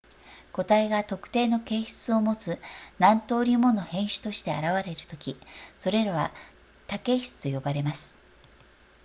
個体が特定の形質を持つ何とおりもの変種として現れるときそれらは多型質と呼ばれます